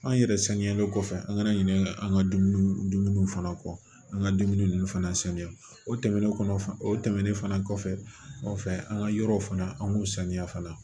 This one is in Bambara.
An yɛrɛ sanuyalen kɔfɛ an kana ɲinɛ an ka dumuni fana kɔ an ka dumuni ninnu fana sanuya o tɛmɛnen kɔnɔ fan o tɛmɛnen fana kɔfɛ an ka yɔrɔw fana an k'u saniya fana